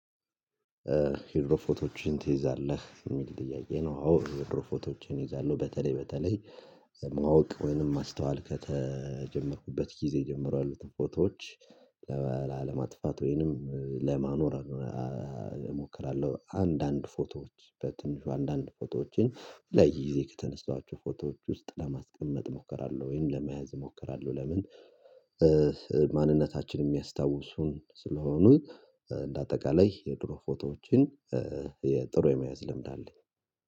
የድሮ ፎቶዎችን ትይዛለህ የሚል ጥያቄ ነው፤ አዎ፣ የድሮ ፎቶዎችን ይዛለሁ። በተለይ በተለይ ማወቅ ወይንም ማስተዋል ከተጀመርኩበት ጊዜ ጀምሯል ያሉትን ፎቶዎች ለላ ለማጥፋት ወይንም ለማኖር እሞክራለሁ፤ አንዳንድ ፎቶዎች በትንሹ አንዳንድ ፎቶዎችን ለይዜ ከተነሳችሁ ፎቶዎች ውስጥ ለማስቀመጥ እሞክራለሁ ወይም ለመያዝ እሞክራለሁ ለምን ማንነታችን የሚያስታውሱን ስለሆኑ እንደ አጠቃላይ የድሮ ፎቶዎችን የጥሩ የመያዝ ልምድ አለኝ